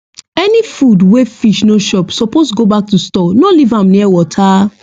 any food wey fish no chop suppose go back to store no leave am near water